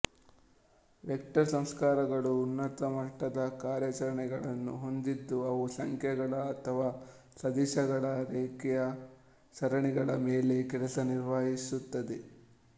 vector ಸಂಸ್ಕಾರಗಳು ಉನ್ನತ ಮಟ್ಟದ ಕಾರ್ಯಾಚರಣೆಗಳನ್ನು ಹೊಂದಿದ್ದು ಅವು ಸಂಖ್ಯೆಗಳು ಅಥವಾ ಸದಿಶಗಳ ರೇಖೀಯ ಸರಣಿಗಳ ಮೇಲೆ ಕೆಲಸ ನಿರ್ವಹಿಸುತ್ತದೆ